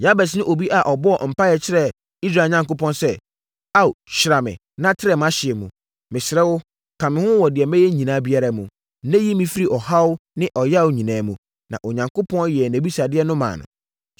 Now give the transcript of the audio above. Yabes ne obi a ɔbɔɔ mpaeɛ kyerɛɛ Israel Onyankopɔn sɛ, “Ao, hyira me na trɛ mʼahyeɛ mu. Mesrɛ wo, ka me ho wɔ deɛ mɛyɛ biara mu, na yi me firi ɔhaw ne ɔyea nyinaa mu.” Na Onyankopɔn yɛɛ nʼabisadeɛ no maa no.